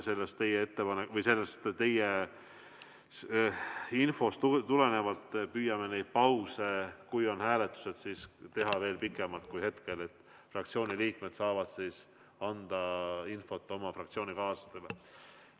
Aga ma arvan, et sellest teie infost tulenevalt püüame neid pause, kui on hääletused, teha veel pikemalt kui praegu, et fraktsiooni liikmed saaksid anda oma fraktsioonikaaslastele infot.